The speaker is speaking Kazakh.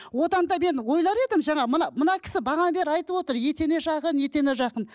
одан да мен ойлар едім жаңа мына мына кісі бағанадан бері айтып отыр етене жақын етене жақын